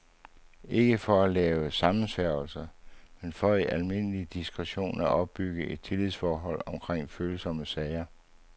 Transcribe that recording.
Ikke for at lave sammensværgelser, men for i al diskretion at opbygge et tillidsforhold omkring følsomme sager.